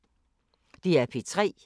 DR P3